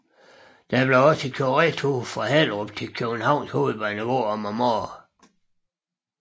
Der kørtes også retur fra Hellerup til København H om morgenen